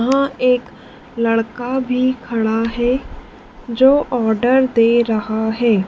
यहां एक लड़का भी खड़ा है जो आर्डर दे रहा है।